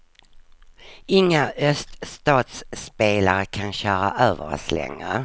Inga öststatsspelare kan köra över oss längre.